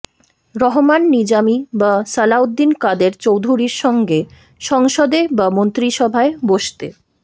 রহমান নিজামী বা সালাউদ্দিন কাদের চৌধুরীর সঙ্গে সংসদে বা মন্ত্রিসভায় বসতে